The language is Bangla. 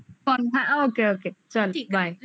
ওকে ওকে চলো ঠিক bye